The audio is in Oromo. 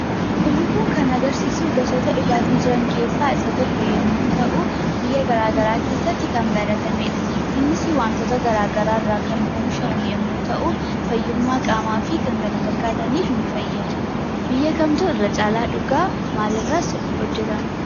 Suurri kun kan agarsiisu gosoota dhugaatii jiran keessaa isa tokko yemmuu ta'u biyya garaagaraa keessatti kan baratamedha. Innisii wantoota garaa garaa irraa kan oomishamu yemmuu ta'uu fayyummaa qaamaa fi kan kana fakkaataniif ni fayyada. Biyya kamtu irra caalaa dhugaa? maalirraas hojjetama?